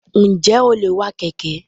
Njẹ o le wà Keke?